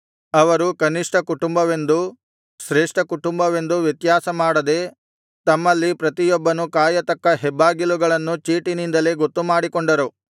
ಅವರು ಕನಿಷ್ಠ ಕುಟುಂಬವೆಂದೂ ಶ್ರೇಷ್ಠ ಕುಟುಂಬವೆಂದೂ ವ್ಯತ್ಯಾಸ ಮಾಡದೆ ತಮ್ಮಲ್ಲಿ ಪ್ರತಿಯೊಬ್ಬನು ಕಾಯತಕ್ಕ ಹೆಬ್ಬಾಗಿಲುಗಳನ್ನು ಚೀಟಿನಿಂದಲೇ ಗೊತ್ತುಮಾಡಿಕೊಂಡರು